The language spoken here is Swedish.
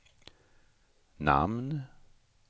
namn